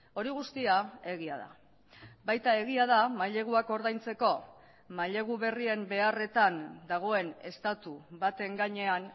hori guztia egia da baita egia da maileguak ordaintzeko mailegu berrien beharretan dagoen estatu baten gainean